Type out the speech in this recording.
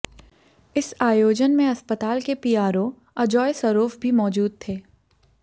इस आयोजन में अस्पताल के पीआरओ अजोय सरोफ भी मौजूद थे